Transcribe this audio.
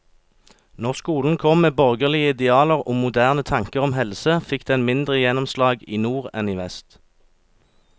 Når skolen kom med borgerlige idealer og moderne tanker om helse, fikk den mindre gjennomslag i nord enn i vest.